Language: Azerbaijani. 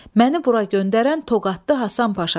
Məni bura göndərən Toqatlı Həsən Paşadır.